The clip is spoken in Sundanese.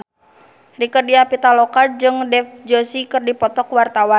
Rieke Diah Pitaloka jeung Dev Joshi keur dipoto ku wartawan